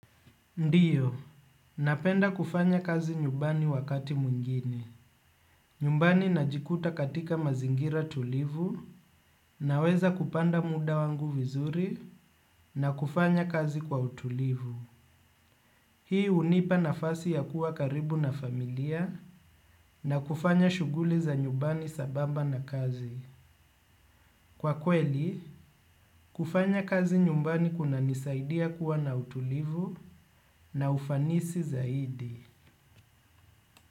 Ndiyo, napenda kufanya kazi nyumbani wakati mwingine. Nyumbani najikuta katika mazingira tulivu na weza kupanda muda wangu vizuri na kufanya kazi kwa utulivu. Hii unipa nafasi ya kuwa karibu na familia na kufanya shuguli za nyumbani sambamba na kazi. Kwa kweli, kufanya kazi nyumbani kuna nisaidia kuwa na utulivu na ufanisi zaidi.